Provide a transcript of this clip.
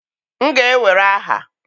m ga-ewere aha!